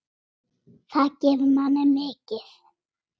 Það gefur manni mikið.